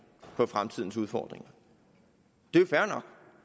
på fremtidens udfordringer